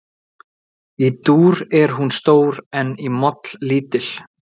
Í dúr er hún stór en í moll lítil.